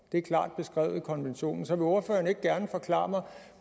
det er klart beskrevet i konventionen så vil ordføreren ikke gerne forklare mig